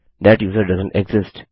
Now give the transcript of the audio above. that user doesn't exist